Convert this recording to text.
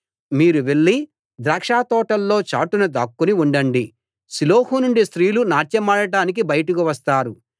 మీరు వెళ్లి ద్రాక్షతోటల్లో చాటున దాక్కుని ఉండండి షిలోహు నుండి స్త్రీలు నాట్యమాడటానికి బయటకు వస్తారు